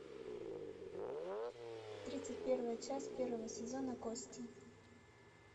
тридцать первая часть первого сезона кости